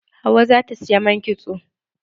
Hauwa za ta saya man kitso.